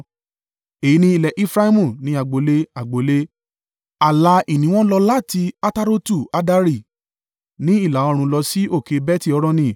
Èyí ni ilẹ̀ Efraimu, ní agbo ilé agbo ilé. Ààlà ìní wọn lọ láti Atarotu-Addari ní ìlà-oòrùn lọ sí òkè Beti-Horoni.